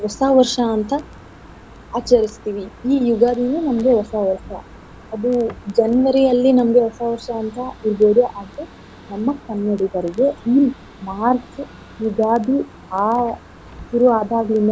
ಹೊಸ ವರ್ಷ ಅಂತ ಆಚರಿಸ್ತಿವಿ. ಈ ಯುಗಾದಿನು ನಮ್ಗೆ ಹೊಸ ವರ್ಷ ಅದು January ಯಲ್ಲಿ ನಮ್ಗೆ ಹೊಸ ವರ್ಷ ಅಂತ ಇರ್ಬೋದು ಆದ್ರೆ ನಮ್ಮ ಕನ್ನಡಿಗರಿಗೆ ಈ March ಯುಗಾದಿ ಆ ಶುರು ಆದಾಗ್ಲಿಂದಾನೆ.